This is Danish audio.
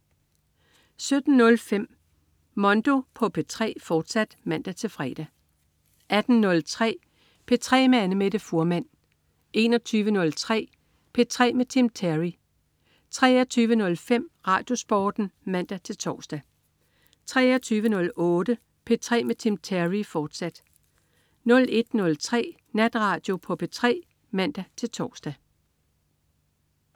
17.05 Mondo på P3, fortsat (man-fre) 18.03 P3 med Annamette Fuhrmann 21.03 P3 med Tim Terry 23.05 RadioSporten (man-tors) 23.08 P3 med Tim Terry, fortsat 01.03 Natradio på P3 (man-tors)